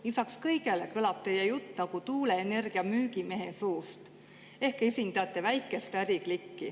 Lisaks kõigele kõlab teie jutt nagu tuuleenergia müügimehe suust ehk te esindate väikest äriklikki.